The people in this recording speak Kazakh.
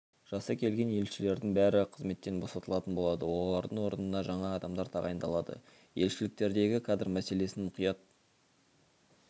жасы келген елшілердің бәрі қызметтен босатылатын болады олардың орнына жаңа адамдар тағайындалады елшіліктердегі кадр мәселесін мұқият